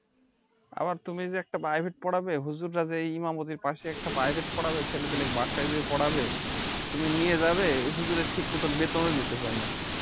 আবার তুমি যে একটা Private পড়াবে হুজুরা যে ইমাম ওদের পাশে একটা Private পোড়াবে ছেলে পেলেদের বাসায় যেয়ে পোড়াবে তুমি নিয়ে যাবে ওই হুজুরের ঠিক মতো বেতনও দিতে চায় না